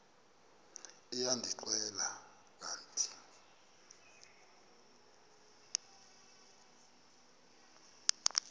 liya ndinceda kanti